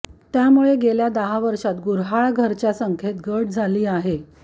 त्यामुळे गेल्या दहा वर्षांत गुर्हाळघराच्या संख्येत घट झाली आहे